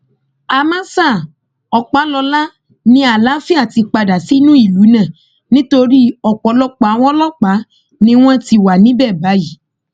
àmọ ṣá ọpàlọlá ni àlàáfíà ti padà sínú ìlú náà nítorí ọpọlọpọ àwọn ọlọpàá ni wọn ti wà níbẹ báyìí